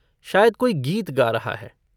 शायद कोई गीत गा रहा है।